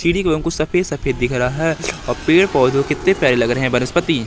सफेद सफेद दिख रहा है और पेड़ पौधो कितने प्यारे लग रहे है वनस्पति--